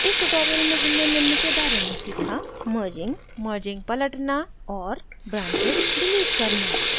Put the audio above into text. इस tutorial में हमने निम्न के बारे में सीखा merging merging पलटना और branches डिलीट करना